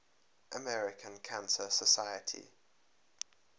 american cancer society